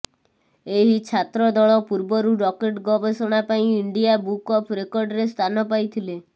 ଏହି ଛାତ୍ର ଦଳ ପୂର୍ବରୁ ରକେଟ ଗବେଷଣା ପାଇଁ ଇଣ୍ଡିଆ ବୁକ୍ ଅଫ୍ ରେକର୍ଡ଼ରେ ସ୍ଥାନ ପାଇଥିଲେ